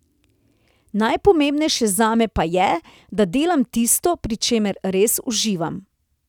Najpomembnejše zame pa je, da delam tisto, pri čemer res uživam.